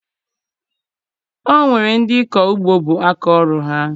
O nwere ndị ịkọ ugbo bụ aka ọrụ ha